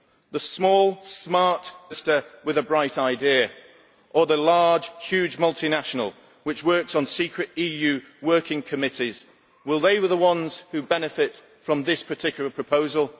The small smart new company in Manchester with a bright idea, or the huge multinational, which works on secret EU working committees will they be the ones who benefit from this particular proposal?